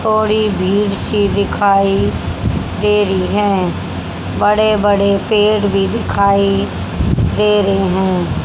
थोड़ा भीड़ सी दिखाई दे रही हैं बड़े बड़े पेड़ भी दिखाई दे रहे हैं।